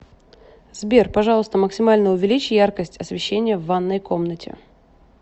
сбер пожалуйста максимально увеличь яркость освещения в ванной комнате